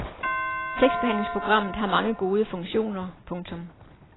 Tekstbehandlingsprogrammet har mange gode funktioner. punktum